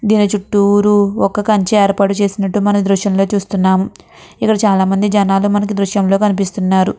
దీని చుట్టూరు ఒక కంచ ఏర్పాటు చేసినట్టు మన దృశ్యంలో చూస్తున్నాము. ఇక్కడ చాలామంది జనాలు మనకి దృశ్యంలో కనిపిస్తున్నారు.